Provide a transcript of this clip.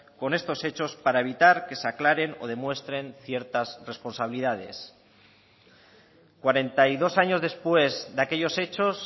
con estos hechos para evitar que se aclaren o demuestren ciertas responsabilidades cuarenta y dos años después de aquellos hechos